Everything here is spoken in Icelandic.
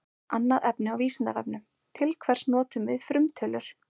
Annað efni á Vísindavefnum: Til hvers notum við frumtölur?